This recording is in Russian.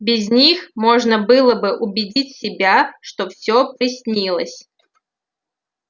без них можно было бы убедить себя что всё приснилось